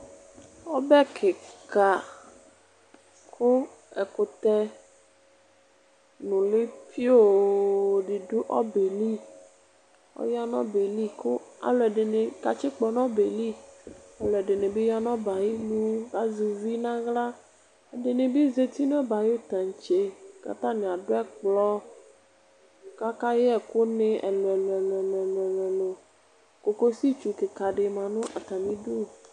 Ɔbɛ kika ku ɛkutɛ nuli pioo di du ɔbɛli aya nu ɔbɛli aluɛdini katsikpɔ nu ɔbɛli ɔsidi ya nu ɔbɛ ayinu kazɛ uvi naɣla ɛdinibi zati nu ɔbɛ ayu taŋtse atani adu ɛkplɔ kakayɛ ɛku ni ɛlu ɛlu kokositsu kika di ma nu atamidu